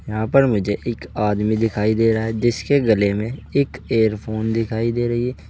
यहां पर मुझे एक आदमी दिखाई दे रहा है जिसके गले में एक इयरफोन दिखाई दे रही है।